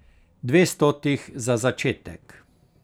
Dvestotih za začetek.